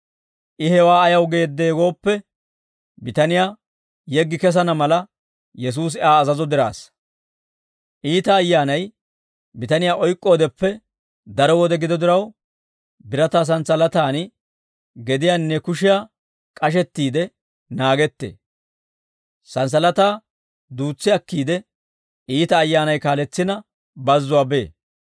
I hewaa ayaw geeddee gooppe, bitaniyaa yeggi kesana mala Yesuusi Aa azazo diraassa. Iita ayyaanay bitaniyaa oyk'k'oodeppe daro wode gido diraw, birataa santsalataan gediyaanne kushiyaa k'ashettiide naagettee. Santsalataa duutsi akkiide iita ayyaanay kaaletsina bazzuwaa bee.